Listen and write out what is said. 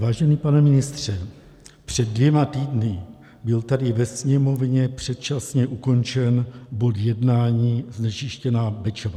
Vážený pane ministře, před dvěma týdny byl tady ve Sněmovně předčasně ukončen bod jednání znečištěná Bečva.